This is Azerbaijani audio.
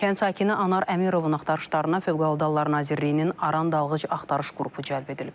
Kənd sakini Anar Əmirovun axtarışlarına Fövqəladə Hallar Nazirliyinin Aran Dalğıc Axtarış qrupu cəlb edilib.